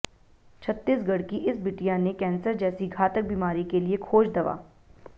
छत्तीसगढ़ की इस बिटिया ने कैंसर जैसी घातक बीमारी के लिए खोज दवा